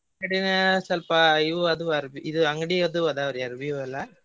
ಸ್ವಲ್ಪ ಇವು ಅದು ಅರ್ವಿ ಇದ್ ಅಂಗಡಿ ಅದು ಅದಾವ್ರಿ ಅರವಿವೆಲ್ಲಾ.